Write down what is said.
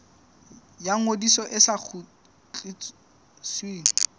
ya ngodiso e sa kgutlisweng